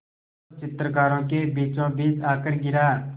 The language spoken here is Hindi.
जो चित्रकारों के बीचोंबीच आकर गिरा